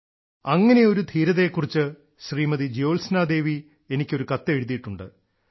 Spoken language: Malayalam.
അങ്ങനെയൊരു ധീരതയെ കുറിച്ച് ശ്രീമതി ജോത്സ്ന ദേവി എനിക്ക് ഒരു കത്ത് എഴുതിയിട്ടുണ്ട്